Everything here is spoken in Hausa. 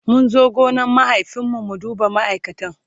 mun zo gonan mahaifin mu mu duba ma'aikatan